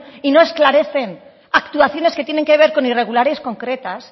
y no esclarecen actuaciones que tienen que ver con irregulares concretas